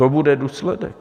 To bude důsledek.